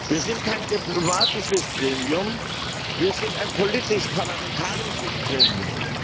Wir sind kein diplomatisches Gremium, wir sind ein politisch parlamentarisches Gremium.